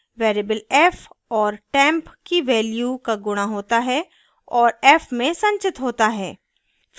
variable f और temp की value का गुणा होता है और f में संचित होता है